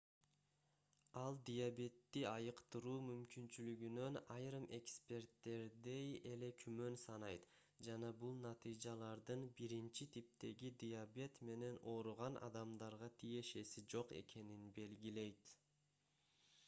ал диабетти айыктыруу мүмкүнчүлүгүнөн айрым эксперттердей эле күмөн санайт жана бул натыйжалардын 1-типтеги диабет менен ооруган адамдарга тиешеси жок экенин белгилейт